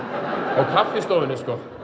á kaffistofunni